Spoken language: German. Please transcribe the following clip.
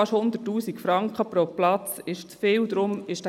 Fast 100 000 Franken pro Platz sind zu viel.